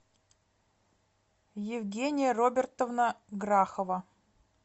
евгения робертовна грахова